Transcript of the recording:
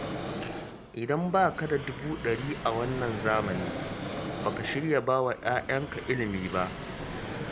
Idan ba ka da dubu ɗari a wannan zamani, ba ka shirya ba wa 'ya'yanka ilimi ba